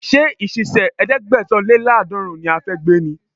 Ṣé ìṣísẹ̀ ẹ̀ẹ́dẹ́gbẹ̀sán-lé-láàdọ́rùn ún ni a fẹ́ gbé ni?